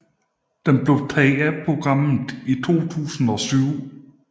Den blev taget af programmet i 2007